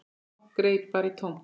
Fólk greip bara í tómt.